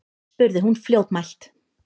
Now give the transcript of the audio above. spurði hún fljótmælt.